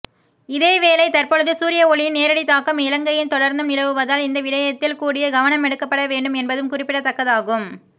இதேவேளை தற்பொழுது சூரிய ஒளியின் நேரடித் தாக்கம் இலங்கையில் தொடர்ந்தும் நிலவுவதால் இந்த விடயத்தில் கூடிய கவனமெடுக்கப்படவேண்டும் என்பதும் குறிப்பிடத்தக்கதாகும்